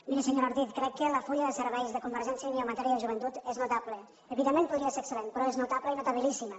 miri senyora ortiz crec que el full de serveis de convergència i unió en matèria de joventut és notable evidentment podria ser excel·lent però és notable i notabilíssima